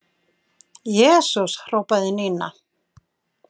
Jesús hrópaði Nína.